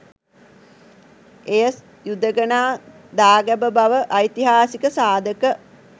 එය යුදඟනා දාගැබ බව ඓතිහාසික සාධක